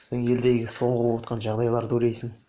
содан елдегі соңғы боватқан жағдайларды ойлайсын